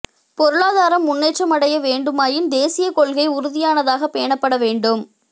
பொருளாதாரம் முன்னேற்றமடைய வேண்டுமாயின் தேசிய கொள்கை உறுதியானதாக பேணப்பட வேண்டும்